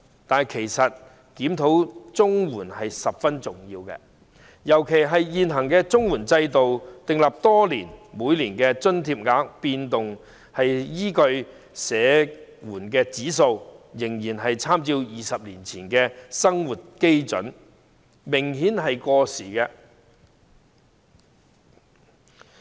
但其實，檢討綜援計劃十分重要，尤其是現行制度已訂立多年，每年調整津貼額所依據的社會保障援助物價指數仍參照20年前的生活基準，做法明顯過時。